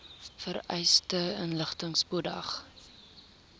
vereiste inligting spoedig